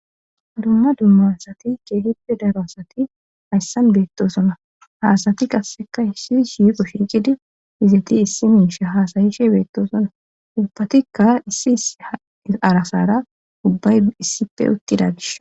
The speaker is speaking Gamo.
Dumma dummasati keehippe daroasati hayssan beettosona haasati qasseka issi shyiqoshicidi izeti issi minshe haasayishe beettosona ubbatikka issi sarasara ubbay issife uttida gish.